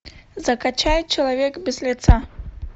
закачай человек без лица